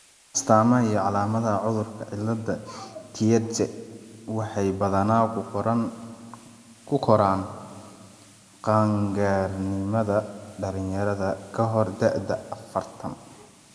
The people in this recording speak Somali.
astamaha iyo calaamadaha cudurka cillada Tietze waxay badanaa ku koraan qaangaarnimada dhalinyarada (kahor da'da afartan).